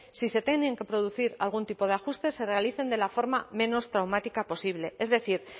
si se tienen que producir algún tipo de ajustes se realicen de la forma menos traumática posible es decir